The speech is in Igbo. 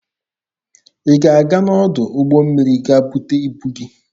Ị ga-aga n'ọdụ ụgbọ mmiri ga bute ibu gị?